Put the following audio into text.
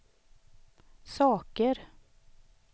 saker